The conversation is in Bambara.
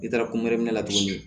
I taara kunkɛrin la tuguni